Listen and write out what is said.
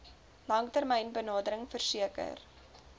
langtermyn benadering verseker